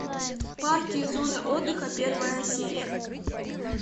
парки и зоны отдыха первая серия